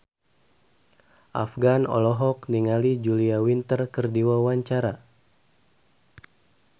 Afgan olohok ningali Julia Winter keur diwawancara